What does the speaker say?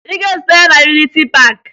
Ị ga-ezute ya na Yuniti Paakị!